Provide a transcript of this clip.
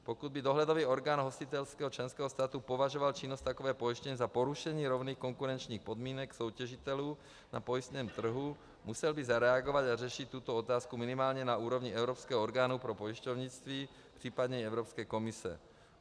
Pokud by dohledový orgán hostitelského členského státu považoval činnost takové pojišťovny za porušení rovných konkurenčních podmínek soutěžitelů na pojistném trhu, musel by zareagovat a řešit tuto otázku minimálně na úrovni evropského orgánu pro pojišťovnictví případně i Evropské komise.